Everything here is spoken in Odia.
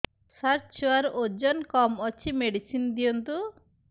ସାର ଛୁଆର ଓଜନ କମ ଅଛି ମେଡିସିନ ଦିଅନ୍ତୁ